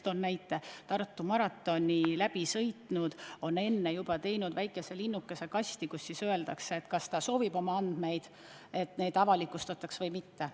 Toon näite: Tartu maratonil käijad teevad enne maratoni väikese linnukese vastavasse kasti: kas soovitakse, et nende andmed avalikustatakse, või mitte.